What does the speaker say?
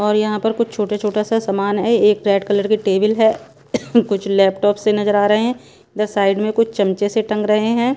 और यहाँ पर कुछ छोटा-छोटा सा सामान हैं एक रेड कलर की टेबल हैं कुछ लैपटॉप से नजर आ रहे हैं इधर साइड में कुछ चमचे से टंग रहे हैं।